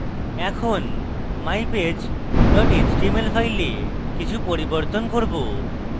এখন mypage html file কিছু পরিবর্তন করব